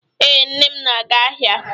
Ee, nne m na-aga ahia